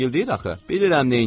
Bilirəm neynirəm.